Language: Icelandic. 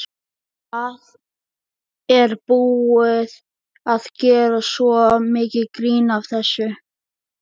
Það er búið að gera svo mikið grín að þessu.